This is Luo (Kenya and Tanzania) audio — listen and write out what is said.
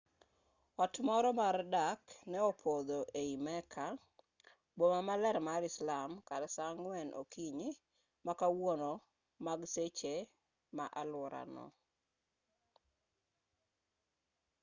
ot moro mar dak ne opodho ei mecca boma maler mar islam kar saa 10 o'clock okinyi ma kawuono mag seche ma aluorano